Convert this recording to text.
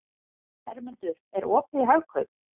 Hermundur, er opið í Hagkaup?